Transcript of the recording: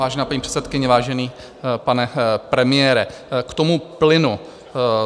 Vážená paní předsedkyně, vážený pane premiére, k tomu plynu.